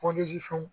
fɛnw